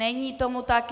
Není tomu tak.